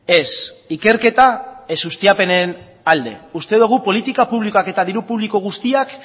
ez ikerketa ez ustiapenen alde uste dogu politika publikoak eta diru publiko guztiak